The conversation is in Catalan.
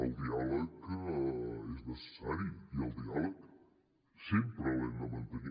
el diàleg és necessari i el diàleg sempre l’hem de mantenir